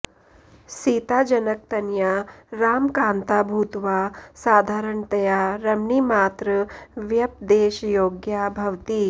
सीता जनकतनया रामकान्ता भूत्वा साधारणतया रमणीमात्र व्यपदेशयोग्या भवति